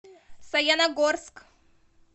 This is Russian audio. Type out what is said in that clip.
саяногорск